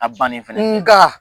A fan ne filɛ nka